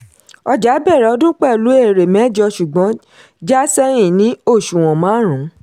ọjà bẹ̀rẹ̀ ọdún pẹ̀lú èrè mẹ́jọ ṣùgbọ́n já sẹ́yìn sí òṣùwọ̀n márùn-ún.